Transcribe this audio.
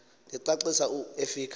licacisa u efika